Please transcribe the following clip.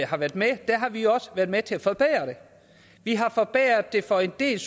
har været med har vi jo også været med til at forbedre vi har forbedret det for en del